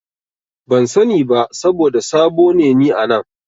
Ban sani ba saboda sabo ne ni a nan.